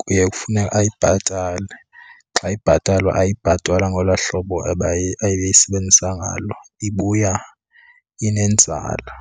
kuye kufune ayibhatale. Xa ibhatalwa ayibhatalwa ngolaa hlobo ebeyisebenzisa ngalo, ibuya inenzala.